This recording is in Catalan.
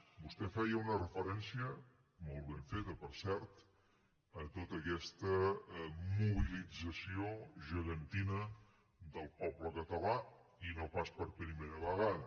vostè feia una referència molt ben feta per cert a tota aquesta mobilització gegantina del poble català i no pas per primera vegada